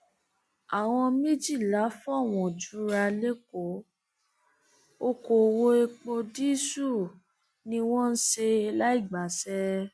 àwọn méjìlá fọwọn jura lẹkọọ ọkọọwọ epo dììṣù ni wọn ń ṣe láì gbàṣẹ